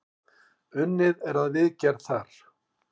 Unnið er að viðgerð þar.